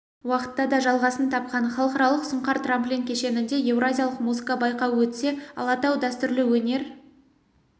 уақытта да жалғасын тапқан халықаралық сұңқар трамплин кешенінде еуразиялық музыка байқауы өтсе алатау дәстүрлі өнер